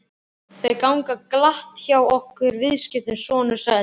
Þau ganga glatt hjá okkur viðskiptin, sonur sæll.